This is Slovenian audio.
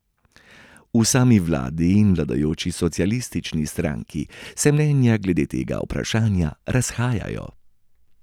V sami vladi in vladajoči socialistični stranki se mnenja glede tega vprašanja razhajajo.